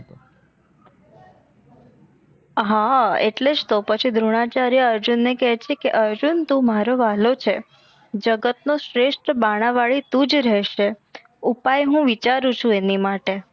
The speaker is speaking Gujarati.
હા એટલેજ તો પછી દ્રોણાચાર્ય અર્જુન ને કે છે કે અર્જુન તું મારો વાહલો છે જગત નો શ્રેસ્ત બાણાવાડી તુજ રહસે ઉપાય હું વિચારું છું આની માટે